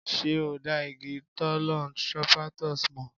Ṣé o dá igi Thollon Strophanthus mọ̀?